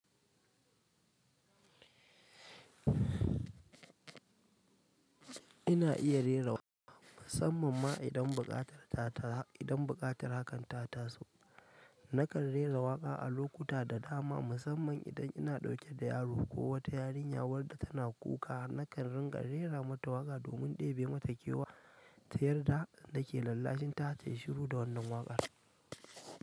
Ina iya rera waƙa musamman ma idan buƙatar ta ta, idan buƙatar hakan ta taso. Nakan rera waƙa a lokuta da dama musamman idan ina ɗauke da yaro ko wata yarinya wadda tana kuka, nakan ringa rera mata waƙa domin ɗebe mata kewa ta yarda na ke lallashinta ta yi shiru da wannan waƙar.